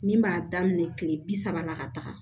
Min b'a daminɛ kile bi saba la ka taa